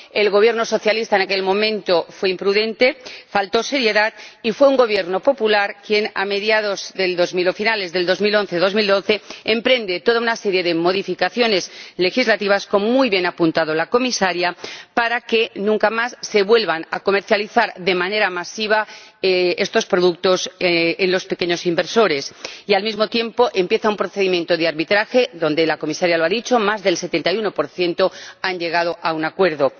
El Gobierno socialista en aquel momento fue imprudente, faltó seriedad, y fue un Gobierno popular el que, a finales de 2011 y comienzos de 2012, emprende toda una serie de modificaciones legislativas —como muy bien ha apuntado la Comisaria— para que nunca más se vuelvan a comercializar de manera masiva estos productos entre los pequeños inversores y, al mismo tiempo, inicia un procedimiento de arbitraje, en el marco del que —la Comisaria lo ha dicho— más del 71 de los afectados han llegado a un acuerdo.